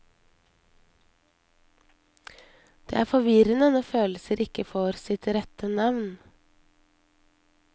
Det er forvirrende når følelser ikke får sitt rette navn.